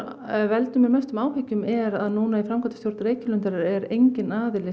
veldur mér mestum áhyggjum er að núna í framkvæmdastjórn Reykjalundar er enginn